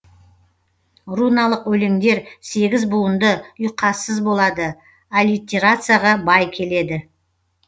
руналық өлеңдер сегіз буынды ұйқассыз болады аллитерацияға бай келеді